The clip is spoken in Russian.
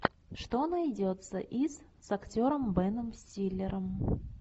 что найдется из с актером беном стиллером